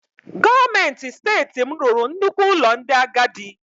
Gọọmenti Steeti m rụrụ nnukwu ụlọ ndị agadi.